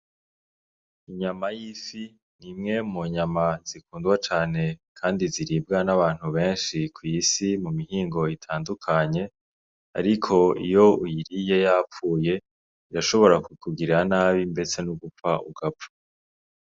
Inyama y'ifi nimwe mu nyama zikundwa cane kandi ziribwa n'abantu benshi kw'isi mu mihingo itandukanye ariko iyo uyiriye yapfuye irashobora kukugirira nabi ndetse no gupfa ugapfa.